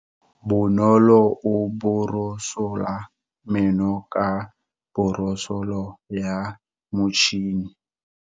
Bonolo o borosola meno ka borosolo ya motšhine.